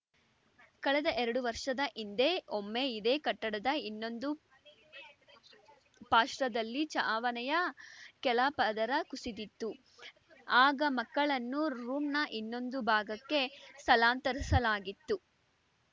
ಕಳೆದ ಎರಡು ವರ್ಷದ ಹಿಂದೆ ಒಮ್ಮೆ ಇದೇ ಕಟ್ಟಡದ ಇನ್ನೊಂದು ಪಾರ್ಶದಲ್ಲಿ ಚಾವಣಿಯ ಕೆಳ ಪದರ ಕುಸಿದಿತ್ತು ಆಗ ಮಕ್ಕಳನ್ನು ರೂಮ್‌ನ ಇನ್ನೊಂದು ಭಾಗಕ್ಕೆ ಸ್ಥಳಾಂತರಿಸಲಾಗಿತ್ತು